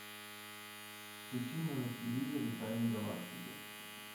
включи мне на телевизоре тайны галактики